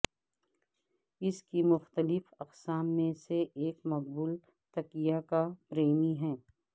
اس کی مختلف اقسام میں سے ایک مقبول تکیا کا پریمی ہے